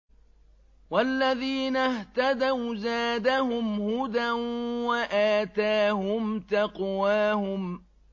وَالَّذِينَ اهْتَدَوْا زَادَهُمْ هُدًى وَآتَاهُمْ تَقْوَاهُمْ